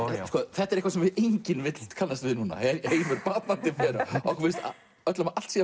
þetta er eitthvað sem enginn vill kannast við núna heimur batnandi fer okkur finnst öllum að allt sé